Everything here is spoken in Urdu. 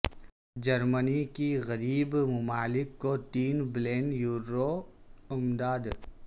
جرمنی کی غریب ممالک کو تین بلین یورو امداد